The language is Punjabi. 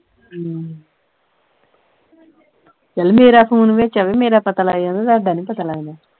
ਹਮ ਚੱਲ ਮੇਰਾ phone ਵਿੱਚ ਆਵੇ ਮੇਰਾ ਪਤਾ ਲੱਗ ਜਾਂਦਾ ਹੈ ਤੁਹਾਡਾ ਨਹੀਂ ਪਤਾ ਲੱਗਦਾ।